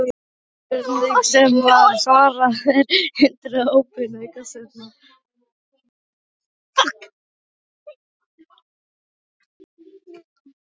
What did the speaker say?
Fyrirspurnir sem var svarað: Er hindrun óbein aukaspyrna?